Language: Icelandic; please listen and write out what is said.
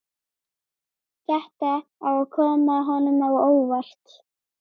Þetta á að koma honum á óvart.